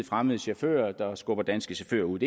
fremmede chauffører der skubber danske chauffører ud